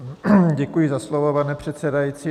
Děkuji za slovo, pane předsedající.